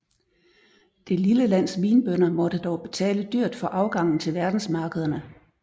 Det lille lands vinbønder måtte dog betale dyrt for afgangen til verdensmarkederne